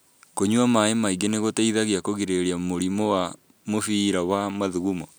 Kũnyua maĩ maingĩ nĩgũteithagia kũgirĩria mĩrimũ wa mũbira wa mathugumo